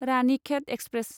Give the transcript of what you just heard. Ranikhet express